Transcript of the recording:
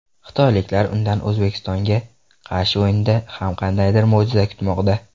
Xitoyliklar undan O‘zbekistonga qarshi o‘yinda ham qandaydir mo‘jiza kutmoqda.